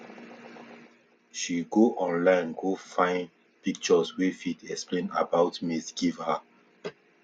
she go online go find pictures wey fit explain about maize give her